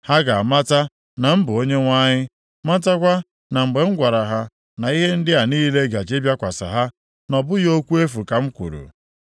Ha ga-amata na m bụ Onyenwe anyị, matakwa na mgbe m gwara ha na ihe ndị a niile gaje ịbịakwasị ha, na ọ bụghị okwu efu ka m kwuru.